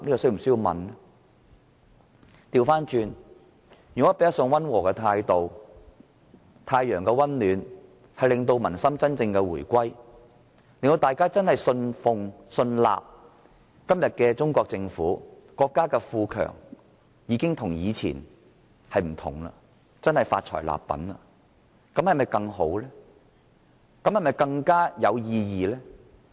相反，若以較溫和的態度，藉太陽的溫暖令民心真正回歸，令人相信今天的中國政府在國家富強後已不同往日，真正發財立品，這是否更好和更有意義？